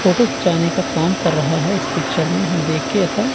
photo खींचने का काम कर रहा है इस पिक्चर में हम देखकर ऐसा--